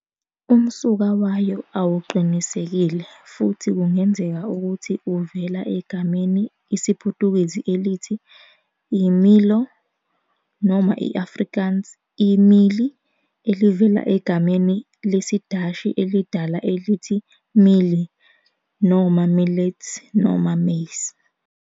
Umsuka wayo awuqinisekile, futhi kungenzeka ukuthi uvela egameni IsiPutukezi elithi "i-milho", noma i-Afrikaans "I-méelie", elivela egameni lesiDashi elidala elithi milie, "millet, maize".